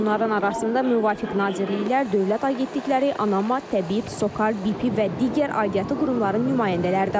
Onların arasında müvafiq nazirliklər, dövlət agentlikləri, ANAMA, TƏBİB, SOCAR, BP və digər aidiyyatı qurumların nümayəndələri də var.